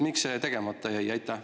Miks see tegemata jäi?